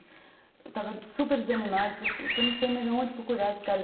Eu estava super desanimada, falei, puta, não sei mais onde procurar esses caras.